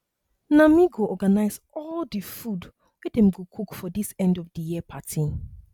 na me go organize all the food wey dem go cook for this end of the year party